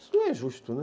Isso não é justo, né?